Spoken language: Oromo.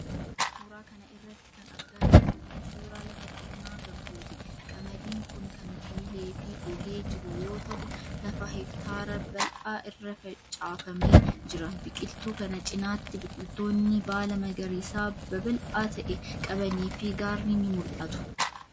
Suura kana irratti kan argaa jirru kun, suura lafa qonnaa garbuuti. Qamadiin kun kan biilee fi gogee jiru yoo ta'u, lafa heektaara bal'aa irra facaafamee jira. Biqiltuu kana cinaatti biqiloonnni baala magariisaa babal'aa ta'e qabanii fi gaarri ni mul'atu.